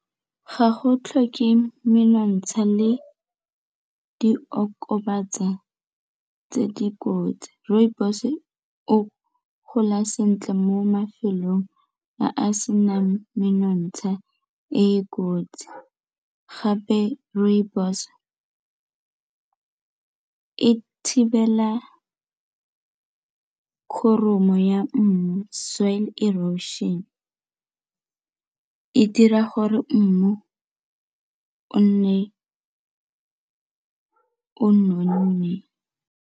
Ga go tlhoke menontsha le diokobatsa tse dikotsi, rooibos o gola sentle mo mafelong a a senang menontsha e e kotsi gape rooibos ka e thibela ka foromo ya mmu soil erosion, e dira gore mmu o nne o nonne.